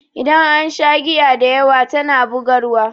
Idan an sha giya dayawa tana bugarwa.